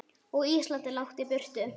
Og Ísland er langt í burtu.